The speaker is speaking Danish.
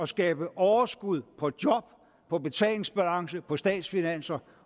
skabe overskud på job på betalingsbalancen på statsfinanserne